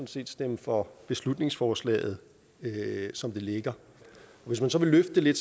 set stemme for beslutningsforslaget som det ligger hvis man så vil løfte det